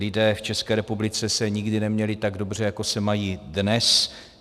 Lidé v České republice se nikdy neměli tak dobře, jako se mají dnes.